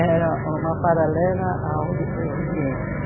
Era uma paralela ao Ori Oriente.